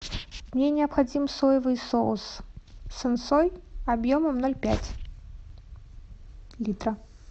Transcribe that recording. мне необходим соевый соус сэн сой объемом ноль пять литра